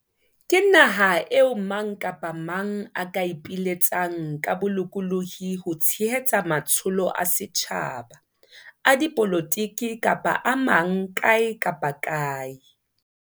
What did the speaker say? Ke naha eo mang kapa mang a ka ipiletsang ka bolokolohi ho tshehetsa matsholo a setjhaba, a dipolotiki kapa a mang kae kapa kae.